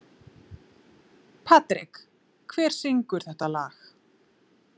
Patrek, hver syngur þetta lag?